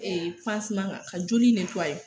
Ee kan ka joli